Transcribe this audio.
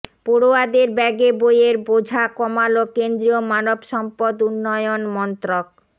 পড়ুয়াদের ব্যাগে বইয়ের বোঝা কমাল কেন্দ্রীয় মানব সম্পদ উন্নয়ন মন্ত্রক